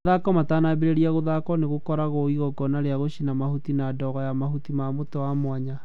Mathako matanambĩrĩria gũthako nĩ gwikago ĩgongona rĩa gũcina mahuti na ndogo ya mahuti ma mũti wa mwanya.